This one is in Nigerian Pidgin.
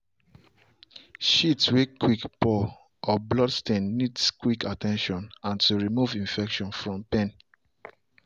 shit way quick pour or blood stain needs quick at ten tion and to remove infection from the pen.